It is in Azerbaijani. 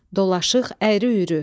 Dolaşıq, əyri-üyrü.